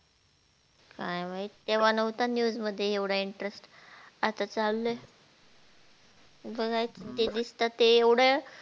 काय माहीत तेव्हा नहोता news मध्ये एवढा interest आता चाललं हे बागाय ते दिसत एवढ